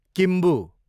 Kimbu